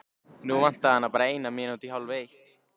Nú vantaði hana bara eina mínútu í hálfeitt.